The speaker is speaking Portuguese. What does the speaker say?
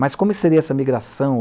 Mas como seria essa migração?